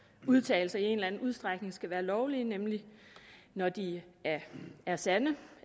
udtalelser i en eller anden udstrækning skal være lovlige nemlig når de er er sande